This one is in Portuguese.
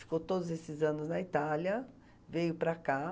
Ficou todos esses anos na Itália, veio para cá.